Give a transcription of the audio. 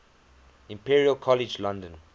imperial college london